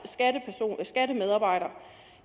skattemedarbejdere